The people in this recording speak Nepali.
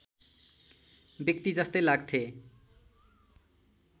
व्यक्ति जस्तै लाग्थे